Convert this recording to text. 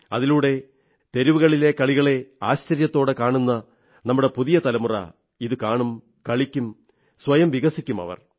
അതിലൂടെ തെരുവുകളിലെ കളികളെ ആശ്ചര്യത്തോടെ കാണുന്ന നമ്മുടെ പുതിയ തലമുറ ഇതുകാണും കളിക്കും സ്വയം വികസിക്കും അവർ